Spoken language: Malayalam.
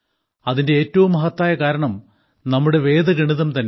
അതിന്റെ ഏറ്റവും മഹത്തായ കാരണം നമ്മുടെ വേദഗണിതം തന്നെയാണ്